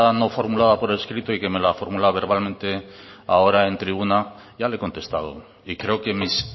no formulada por escrito y que me la formula verbalmente ahora en tribuna ya le he contestado y creo que mis